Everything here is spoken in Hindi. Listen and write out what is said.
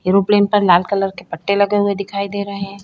एयरोप्लेन पर लाल कलर के पट्टे लगे दिखाई दे रहे है।